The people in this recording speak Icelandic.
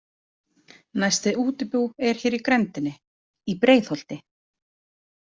Næsta útibú er hér í grenndinni, Í BREIÐHOLTI.